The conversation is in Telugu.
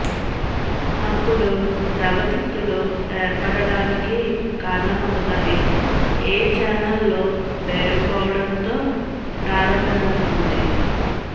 అప్పుడు ద్రవ తిత్తులు ఏర్పడటానికి కారణమవతాయి ఏ చానెల్ లో పేరుకుపోవడంతో ప్రారంభమవుతుంది